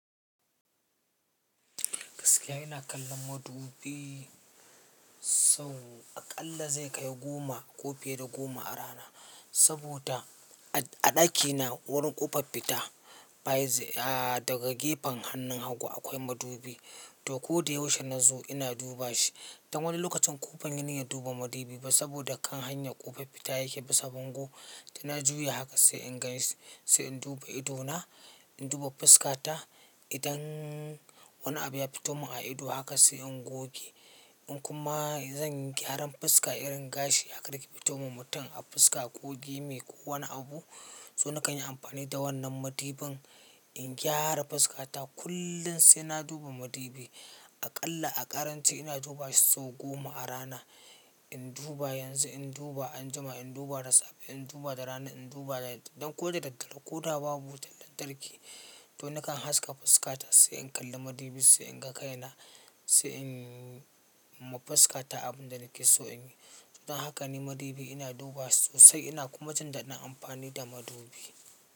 Gaskiya ina kallon madubi sau aƙalla zai kai goma ko fiye da goma a rana. Saboda a ɗakina wurin ƙofar fita baya, a daga gefen hannun hagu akwai madubi. To kodayaushe na zo ina duba shi. Dan wani lokacin ƙoban yi niyan duba madubi ba saboda kan hanyar ƙofar fita yake bisa bango. Da na juya haka sai in ganshi sai in duba ido na, in duba fuska ta. Idan wani abu ya fito mun a ido haka sai in goge. In kuma zan yi gyaran fuska irin gashi haka da yake fitowa wa mutum a fuska ko dai me ko wani abu. To na kan yi amfani da wannan madubin in gyara fuska ta. Kullum sai na duba madubi. Aƙalla a ƙarance ina duba shi sau goma a rana. In duba yanzu, in duba anjima, in duba da safe, in duba da rana, in duba da yamma. Don ko da daddare ko da babu wutar lantarki to na kan haska fuska ta sai in kalli madubi sai in ga kaina sai in yi ma fuska ta abin da nake so in yi. Dan haka ne madubi ina duba sosai ina kuma jindaɗin amfani da madubi.